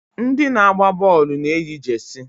Ndị na-agba bọọlụ na-eyi jesi.